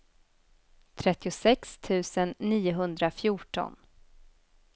trettiosex tusen niohundrafjorton